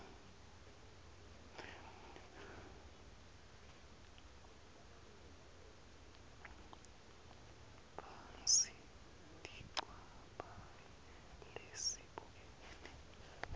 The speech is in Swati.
phasi tinchabhayi lesibukene